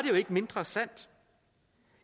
jo ikke mindre sandt